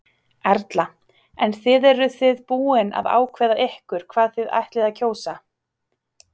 Erla: En þið eru þið búin að ákveða ykkur hvað þið ætlið að kjósa?